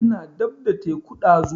Ina dab da teku ɗazu